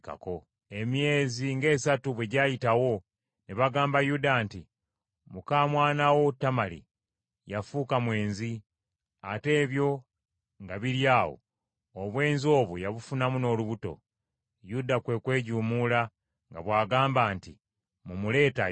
Emyezi ng’esatu bwe gyayitawo ne bagamba Yuda nti, “Muka mwana wo Tamali yafuuka mwenzi. Ate ebyo nga biri awo obwenzi obwo yabufunamu n’olubuto.” Yuda kwe kwejuumuula nga bw’agamba nti, “Mumuleete ayokebwe.”